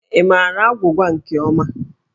Ị maara agwụgwa nke ọma?